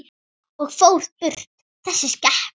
Og fór burt, þessi skepna.